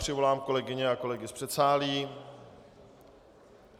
Přivolám kolegyně a kolegy z předsálí.